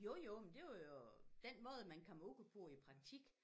Jo jo men det var jo den måde man kom ud på i praktik